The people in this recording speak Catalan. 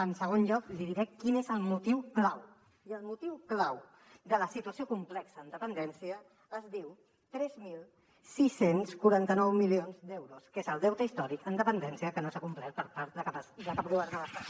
en segon lloc li diré quin és el motiu clau i el motiu clau de la situació complexa en dependència es diu tres mil sis cents i quaranta nou milions d’euros que és el deute històric en dependència que no s’ha complert per part de cap govern de l’estat